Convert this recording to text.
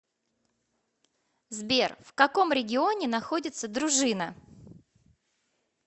сбер в каком регионе находится дружина